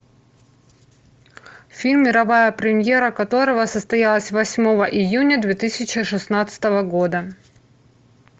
фильм мировая премьера которого состоялась восьмого июня две тысячи шестнадцатого года